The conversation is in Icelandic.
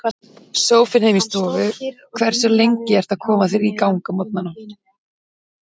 Sófinn heima í stofu Hversu lengi ertu að koma þér í gang á morgnanna?